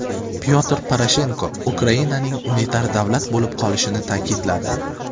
Pyotr Poroshenko Ukrainaning unitar davlat bo‘lib qolishini ta’kidladi.